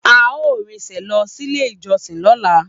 A o rin sẹ lọ sílé ìjọsìn lọla